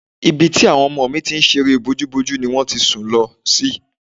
Ibi tí àwọn ọmọ mi ti ń ṣeré bójúbojú ni wọ́n sùn lọ sí